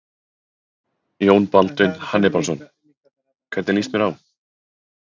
Jón Baldvin Hannibalsson: Hvernig lýst mér á?